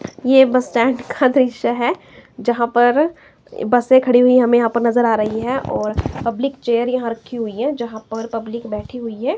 यह bus stand का दृश्य है जहां पर बसें खड़ी हुई हमें यहां पर नजर आ रही हैं और पब्लिक चेयर यहां रखी हुई हैं यहां पर पब्लिक बैठी हुई है।